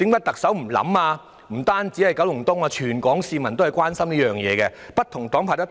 其實，不單是九龍東，全港市民也很關心，而且不同黨派也有提及。